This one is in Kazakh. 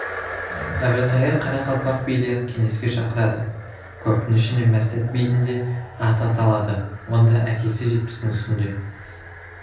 әбілқайыр қарақалпақ билерін кеңеске шақырады көптің ішінде мәстәт бидің де аты аталады онда әкесі жетпістің үстінде